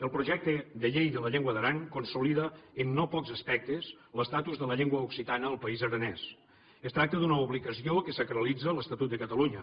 el projecte de llei de la llengua d’aran consolida en no pocs aspectes l’estatus de la llengua occitana al país aranès es tracta d’una obligació que sacralitza l’estatut de catalunya